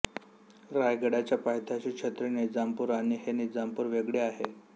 रायगडाच्या पायथ्याचे छत्री निजामपूर आणि हे निजामपूर वेगळे आहे